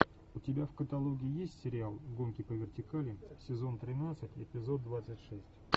у тебя в каталоге есть сериал гонки по вертикали сезон тринадцать эпизод двадцать шесть